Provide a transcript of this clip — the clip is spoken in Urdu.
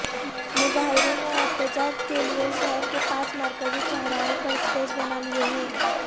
مظاہرین نے احتجاج کے لیے شہر کے پانچ مرکزی چوراہوں پر سٹیج بنا لیے ہیں